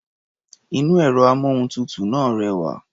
Inú ẹ̀rọ-amóhuntutù náà rẹwà.